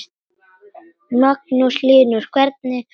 Magnús Hlynur: Hvernig var það?